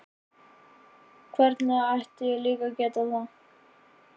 Hvernig ætti ég líka að geta það?